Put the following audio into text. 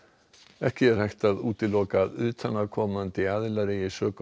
ekki er hægt að útiloka að utanaðkomandi aðilar eigi sök